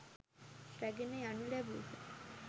රැගෙන යනු ලැබූහ.